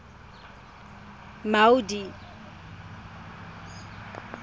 maudi